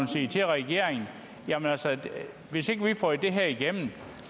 sige til regeringen altså hvis ikke vi får det her igennem